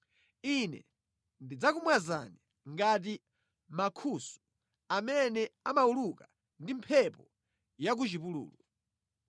“Ine ndidzakumwazani ngati mankhusu amene amawuluka ndi mphepo ya ku chipululu.